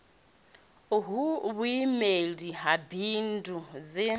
hu vhuimeli ha bindu ḽi